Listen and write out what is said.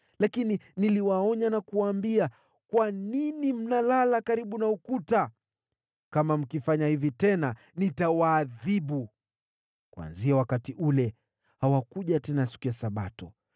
Lakini niliwaonya na kuwaambia, “Kwa nini mnalala karibu na ukuta? Kama mkifanya hivi tena, nitawaadhibu.” Kuanzia wakati ule hawakuja tena siku ya Sabato.